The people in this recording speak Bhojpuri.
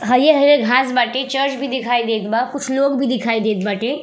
हरियर-हरियर घांस बाटे। चर्च भी दिखाई देत बा कुछ लोग भी दिखाई देत बाटे।